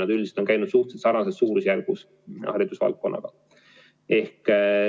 Aga üldiselt on see olnud suhteliselt sarnases suurusjärgus kui.